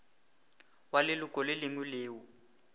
wa leloko le lengwe leo